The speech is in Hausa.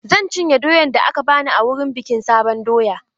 Zan cinye doyan da aka bani wurin bikin sabon doya.